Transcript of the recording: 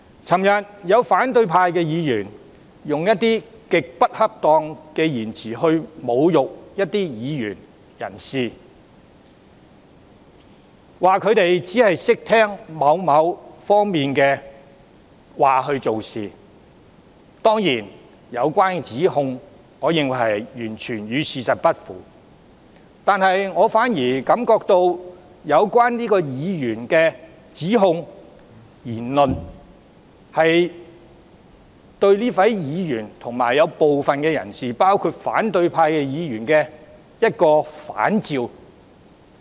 昨天有反對派的議員以一些極不恰當的言詞侮辱一些議員、人士，說他們只聽從某方面的話做事。當然，我認為相關指控完全與事實不符。我反而覺得，相關指控、言論對這位議員本身及部分人士是一種反照。